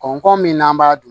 Kɔnkɔ min n'an b'a dun